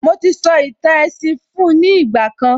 Mo ti sọ ìtàn èsìn fun ní ìgbà kan